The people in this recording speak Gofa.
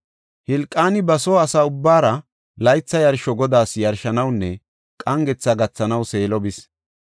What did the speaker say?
Hilqaani ba soo asa ubbaara laytha yarsho Godaas yarshanawunne qangetha gathanaw Seelo bis.